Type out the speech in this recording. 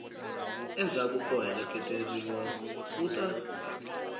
endzhaku ko hakeleriwa wu ta